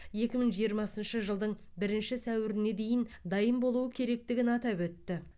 екі мың жиырмасыншы жылдың бірінші сәуіріне дейін дайын болуы керектігін атап өтті